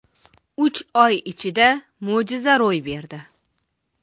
Uch oy ichida mo‘jiza ro‘y berdi.